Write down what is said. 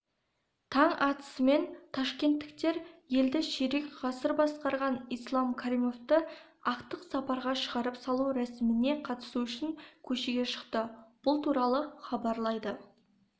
таң атысымен ташкенттіктер елді ширек ғасыр басқарған ислам каримовті ақтық сапарға шығарып салу рәсіміне қатысу үшін көшеге шықты бұл туралы хабарлайды